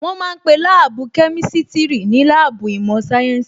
Wọ́n ma ń pe Láàbù Kemistiri ní láàbù ìmọ̀ sáyẹ́ǹsì